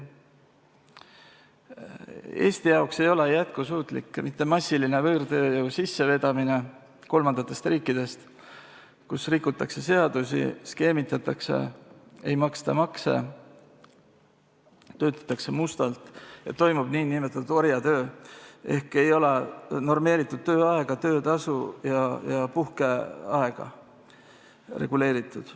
Eesti jaoks ei ole jätkusuutlik mitte massiline võõrtööjõu sissevedamine kolmandatest riikidest, kus rikutakse seadusi, skeemitatakse, ei maksta makse, töötatakse mustalt ja toimub nn orjatöö, st normeeritud tööaega, töötasu ega puhkeaega ei ole reguleeritud.